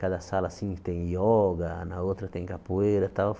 Cada sala assim tem ioga, na outra tem capoeira tal.